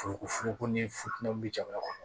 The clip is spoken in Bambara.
Foroko furuguko ni futɛniw bɛ jamana kɔnɔ